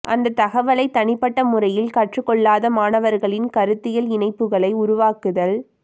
அந்த தகவலை தனிப்பட்ட முறையில் கற்றுக் கொள்ளாத மாணவர்களின் கருத்தியல் இணைப்புகளை உருவாக்குதல்